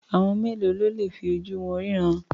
Àwọn mélòó ló le fi ojú wọn ríran?